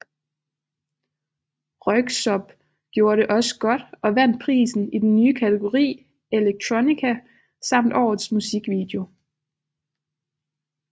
Röyksopp gjorde det også godt og vandt prisen i den nye kategori elektronika samt årets musikvideo